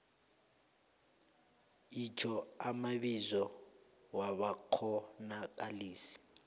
itjho amabizo wabakghonakalisi